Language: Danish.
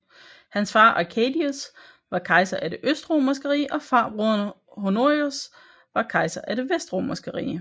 Hans far Arcadius var kejser af det Østromerske rige og farbroderen Honorius var kejser af det Vestromerske rige